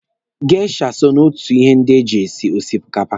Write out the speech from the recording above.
Geisha so na ihe ndị eji esi osikapa.